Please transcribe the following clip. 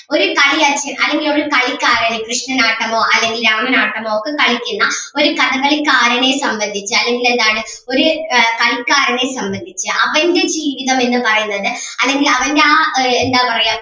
ഒരു കളിയരങ്ങിൽ അല്ലെങ്കിൽ ഒരു കളിക്കാരന് കൃഷ്ണനാട്ടമോ അല്ലെങ്കിൽ രാമനാട്ടമോ ഒക്കെ കളിക്കുന്ന ഒരു കഥകളിക്കാരനെ സംബന്ധിച്ച് അല്ലെങ്കിൽ എന്താണ് ഒര് ആഹ് കളിക്കാരനേ സംബന്ധിച്ച് അവൻ്റെ ജീവിതം എന്ന് പറയുന്നത് അല്ലെങ്കിൽ അവൻ്റെ ആ എന്താ പറയാ